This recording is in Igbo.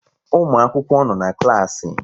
Ụmụakwụkwọ nọ na klaasị